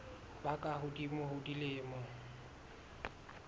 ba ka hodimo ho dilemo